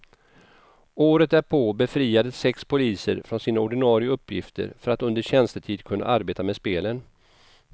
Året därpå befriades sex poliser från sina ordinare uppgifter för att under tjänstetid kunna arbeta med spelen.